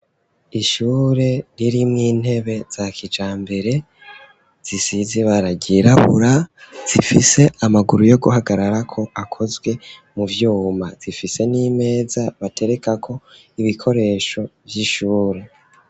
Ishure ririmwo intebe za kijambere zisizibara ryirabura zifise amaguru yo guhagarara ko akozwe mu vyuma zifise n'imeza batereka ko ibikoresho vy'ishure.